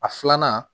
A filanan